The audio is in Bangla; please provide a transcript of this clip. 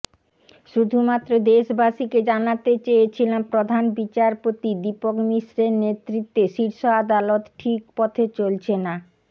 শুধুমাত্র দেশবাসীকে জানাতে চেয়েছিলাম প্রধান বিচারপতি দীপক মিশ্রের নেতৃত্বে শীর্ষ আদালত ঠিক পথে চলছে না